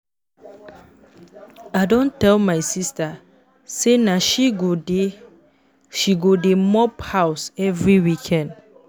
I don tell my sista sey na she go dey she go dey mop house every weekend.